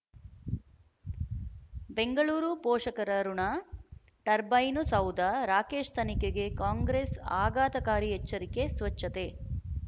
ಬೆಂಗಳೂರು ಪೋಷಕರಋಣ ಟರ್ಬೈನು ಸೌಧ ರಾಕೇಶ್ ತನಿಖೆಗೆ ಕಾಂಗ್ರೆಸ್ ಆಘಾತಕಾರಿ ಎಚ್ಚರಿಕೆ ಸ್ವಚ್ಛತೆ